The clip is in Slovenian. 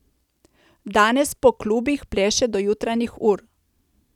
Danes po klubih pleše do jutranjih ur.